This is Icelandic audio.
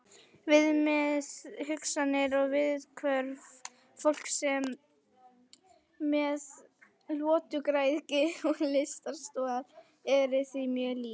Viðmið, hugsanir og viðhorf fólks með lotugræðgi og lystarstol eru því mjög lík.